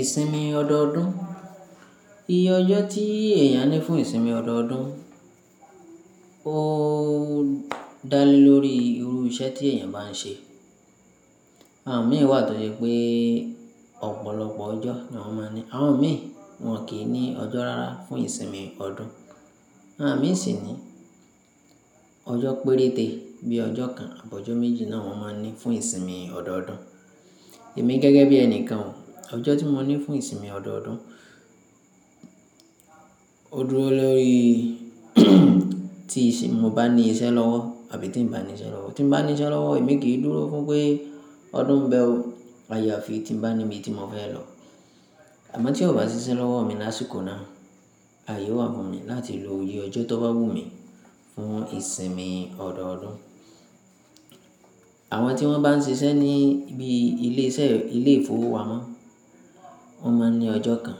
Ìsinmi ọdọọdún. Iye ọjọ́ tí èèyàn ní fún ìsinmi ọdọọdún, óoo dá lé lórí irú iṣẹ́ tí èèyàn bá ń ṣe. Àwọn mìí wà tó je pé ọ̀pọ̀lọpọ̀ ọjọ́ ni wọ́n máa ní. Àwọn mìíràn, wọ́n kì í ní ọjọ́ rárá fún ìsinmi ọdún. Àwọn mìí sì ní ọjọ́ péréte bíi ọjọ́ kan àbọ́ ọjọ́ méjì náà wọ́n máa ń ní fún ìsinmi ọdọọdún. Èmi gẹ́gẹ́ bí ẹnìkan o, ọjọ́ tí mo ní fún ìsinmi ọdọọdún, ó dúró lórí tí mo bá ní iṣẹ́ lọ́wọ́ àbí tí n bá ní iṣẹ́ lọ́wọ́. Tí n bá ní iṣẹ́ lọ́wọ́, èmi kì í dúró fún pé ọdún ń bẹ́ ọ, ayà fi tí n bá níbi tí mo fẹ́ lọ. Àmọ́ tí ó bá sì ṣiṣẹ́ lọ́wọ́ mi lásìkò náà, aye o wà fún mi láti lo iye ọjọ́ tó bá wù mí fún ìsinmi ọdọọdún. Àwọn tí wọ́n bá ń ṣiṣẹ́ ní bí ilé iṣẹ́ ilé ìfowópamọ́, wọ́n máa ń ní ọjọ́ kan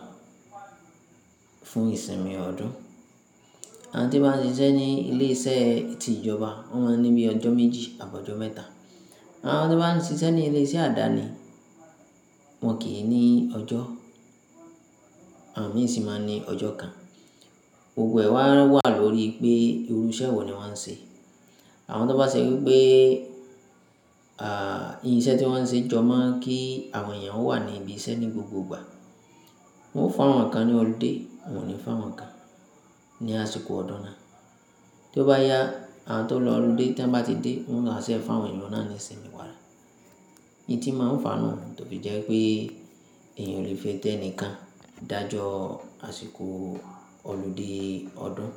fún ìsinmi ọdún. Àwọn tí wọ́n bá ń ṣiṣẹ́ ní ilé iṣẹ́ ti ìjọba wọ́n máa ń ní bí ọjọ́ méjì ta bọjọ́ mẹ́ta. Àwọn tó bá ń ṣiṣẹ́ ní ilé iṣẹ́ àdáni, wọ́n kì í ní ọjọ́. Àwọn mìíràn sì máa ń ní ọjọ́ kan. Gbogbo ẹ̀ wá wà lórí pé irú iṣẹ́ wo ni wọ́n ń ṣe. Àwọn tó bá ṣẹ̀ wipé, à, iṣẹ́ tí wọ́n ń ṣe jọ mo kí àwọn èèyàn ó wà ní ibi iṣẹ́ ní gbogbo ìgbà. Wọn o fún awọn kán ní ọludé, wọn ò ní fún awọn kán ní àsìkò ọdún náà. Tó bá yá, àwọn tó lọ ọludé ti wọ́n bá ti dé, wọ́n wa ṣẹ fún àwọn eun náà ní ìsinmi padà. Hin ti máa ń fàánù tó fi jẹ́ pé èèyàn ò le fitẹnìkan dájọ àsìkò ọludé ọdún.